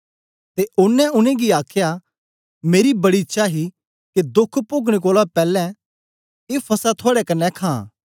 ते ओनें उनेंगी आखया मेरी बड़ी इच्छा ही के दोख पोगने कोलां पैलैं ए फसह थुआड़े कन्ने खां